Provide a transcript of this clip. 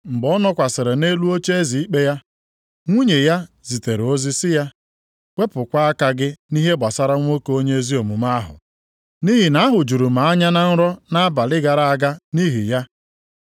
Mgbe ọ nọkwasịrị nʼelu oche ikpe ya, nwunye ya zitere ozi sị ya, “Wepụkwa aka gị nʼihe gbasara nwoke onye ezi omume ahụ. Nʼihi na ahụjuru m anya na nrọ nʼabalị gara aga nʼihi ya.”